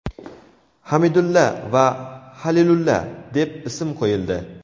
Hamidulla va Halilulla deb ism qo‘yildi.